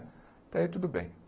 Até aí tudo bem.